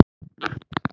Elsku Helga.